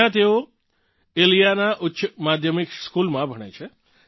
ત્યાં તેઓ ઇલીયાના ઉચ્ચ માધ્યમિક સ્કૂલમાં ભણે છે